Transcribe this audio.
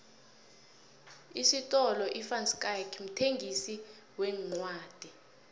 isifolo ivanschaick mthengisi wencwodi